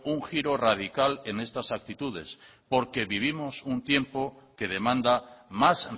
un giro radical en estas actitudes porque vivimos en un tiempo que demanda más